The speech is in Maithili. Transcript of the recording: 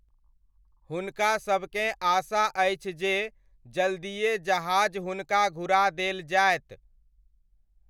हुनकासभकेँ आशा अछि जे जल्दिए जहाज हुनका घुरा देल जायत।